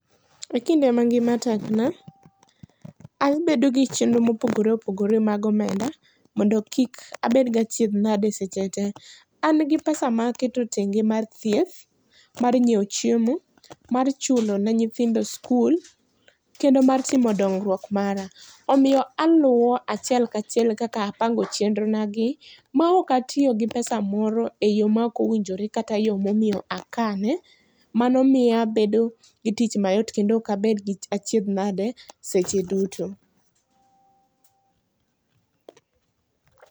E kinde ma ngima tekna, abedo gi chenro mopogore opogore mag omenda, mondo kik abed gi achiedh nade seche te. An gi pesa ma aketo tenge mar thieth, mar nyiewo chiemo, mar chulo ne nyithindo skul, kendo mar timo dongruok mara. Omiyo aluwo achiel ka achiel, kaka apango chenro na gi, maok atiyo gi pesa moro e yoo ma ok owinjore, kata yoo momiyo akane. Mano miyo abedo gi tich mayot, kendo okabedgi achiedh nade seche duto.